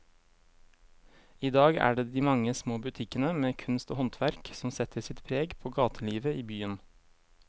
I dag er det de mange små butikkene med kunst og håndverk som setter sitt preg på gatelivet i byen.